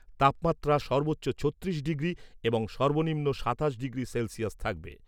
তাপমাত্রা সর্বোচ্চ ছত্রিশ ডিগ্রি এবং সর্বনিম্ন সাতাশ ডিগ্রি সেলসিয়াস থাকবে।